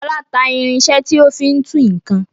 Fọlá ta irinṣẹ́ tí ó fi ń tú nǹkan.